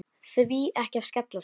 Því ekki að skella sér?